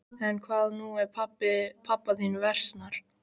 En hvað nú ef pabba þínum versnar?